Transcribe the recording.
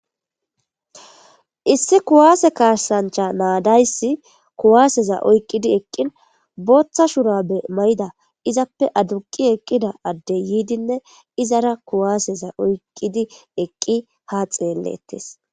issi kuwaase kasancha naadayssi kuwaaseza oyqqidi eqqin booththa shura be may7ida izappe aduqi eqqida addey yiidinne izara kuwaaseza oyqqidi eqqi ha xeellettes